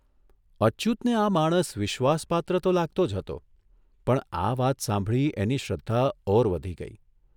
અચ્યુતને આ માણસ વિશ્વાસપાત્ર તો લાગતો જ હતો પણ આ વાત સાંભળી એની શ્રદ્ધા ઓર વધી ગઇ.